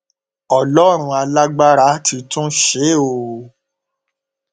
ọlọrun alágbára ti tún ṣe é o